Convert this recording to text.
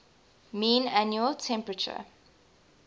mean annual temperature